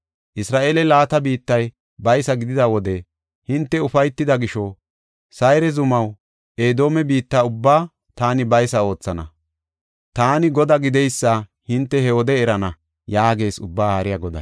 Isra7eele laata biittay baysa gidida wode hinte ufaytida gisho, Sayre zumaw Edoome biitta ubbaa taani baysa oothana. Taani Godaa gideysa hinte he wode erana” yaagees Ubbaa Haariya Goday.